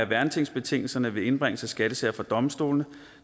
værnetingsbetingelserne ved indbringelse af skattesager for domstolene